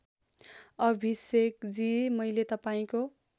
अभिषेकजी मैले तपाईँको